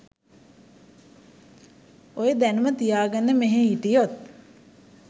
ඔය දැනුම තියාගෙන මෙහෙ හිටියොත්